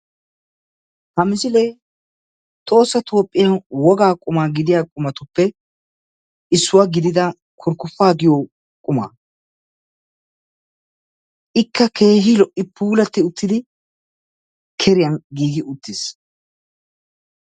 Ha misilee tohossa Toophphiyan wogaa quma gidiya qumatuppe issuwa gididda kurkkuppaa giyo qumaa, ikka keehi lo'i puulatti uttidi keriyan giigi utiis.